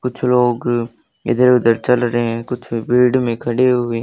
कुछ लोग इधर उधर चल रहे हैं कुछ फील्ड में खड़े हुए--